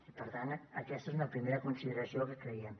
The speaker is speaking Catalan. i per tant aquesta és una primera consideració que creiem